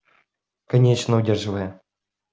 конечно удерживая